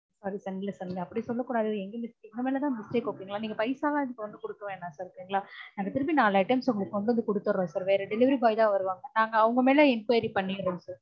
sorry sir இல்ல sir நீங்க அப்படி சொல்ல கூடாது எங்க mistake எங்க மேல தான் mistake okay ங்கலா. நீங்க paisa லாம் இதுக்கு வந்து கொடுக்க வேணாம் sir okay ங்கலா நாங்க திருப்பி நாலு items உங்களுக்கு கொண்டுவந்து கொடுத்துட்றோம் sir வேற delivery boy தான் வருவாங்க. நாங்க அவங்க மேல enquiry பண்ணிடறோம் sir